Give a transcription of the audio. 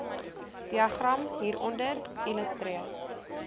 diagram hieronder illustreer